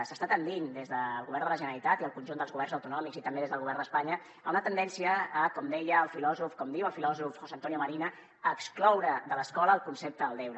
s’està tendint des del govern de la generalitat i el conjunt dels governs autonòmics i també des del govern d’espanya a una tendència com diu el filòsof josé antonio marina a excloure de l’escola el concepte del deure